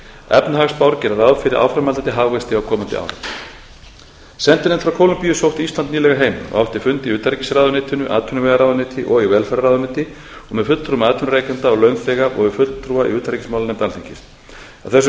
efnahagsspár gera ráð fyrir áframhaldandi hagvexti á komandi árum sendinefnd frá kólumbíu sótti ísland nýlega heim og átti fund í utanríkisráðuneytinu atvinnuvegaráðuneyti og í velferðarráðuneyti og með fulltrúum atvinnurekenda og launþega og við fulltrúa í utanríkismálanefnd alþingis á þessum